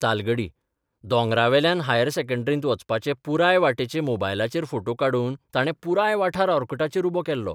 तालगडी दोंगरावेल्यान हायर सेकंडरींत वचपाचे पुराय बाटेचे मोबायलाचेर फोटे काडून ताणे पुराय वाठार ओर्कुटाचेर उबो केल्लो.